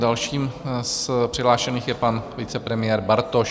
Dalším z přihlášených je pan vicepremiér Bartoš.